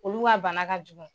Olu ka bana ka jugu.